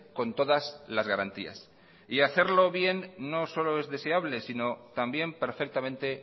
con todas las garantías y hacerlo bien no solo es deseable sino también perfectamente